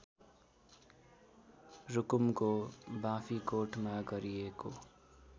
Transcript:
रुकुमको बाँफीकोटमा गरिएको